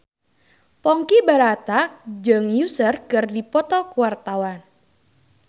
Ponky Brata jeung Usher keur dipoto ku wartawan